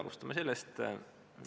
Alustame sellest.